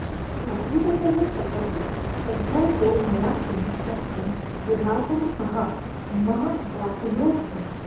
आसिदतः सपदि तद्भयतो मया किं शक्यं विधातुमहहा महदाकुलोऽस्मि